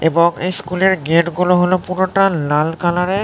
এবং এই স্কুল -এর গেট -গুলো হলো পুরোটা লাল কালার -এর--